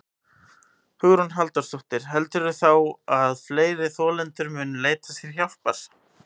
Hugrún Halldórsdóttir: Heldurðu þá að fleiri þolendur muni leita sér hjálpar?